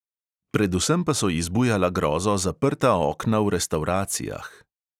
Predvsem pa so ji zbujala grozo zaprta okna v restavracijah.